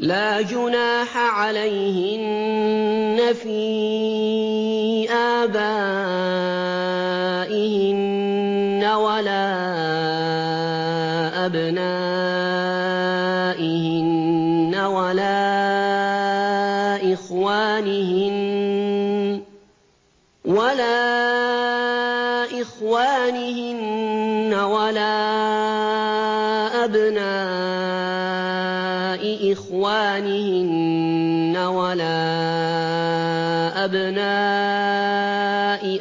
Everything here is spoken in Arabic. لَّا جُنَاحَ عَلَيْهِنَّ فِي آبَائِهِنَّ وَلَا أَبْنَائِهِنَّ وَلَا إِخْوَانِهِنَّ وَلَا أَبْنَاءِ إِخْوَانِهِنَّ وَلَا أَبْنَاءِ